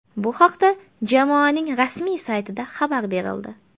Bu haqda jamoaning rasmiy saytida xabar berildi .